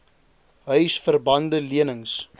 huisver bande lenings